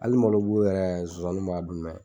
Ali malobu yɛrɛ zonsanninw b'a dun dɛ!